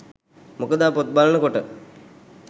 මොකද පොත් බලන කොට